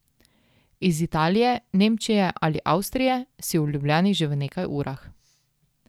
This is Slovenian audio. Iz Italije, Nemčije ali Avstrije si v Ljubljani že v nekaj urah.